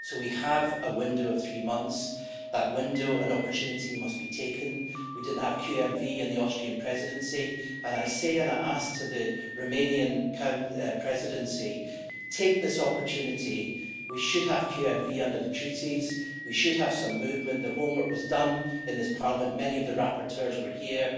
So we have a window of three months, in that window an opportunity must be taken. We didn't have QMV in the Austrian Presidency and I say to and I ask the Romanian Presidency take this opportunity, we should have QMV under the Treaties, we should have some movement, the homework was done in this Parliament, many of the rapporteurs were here.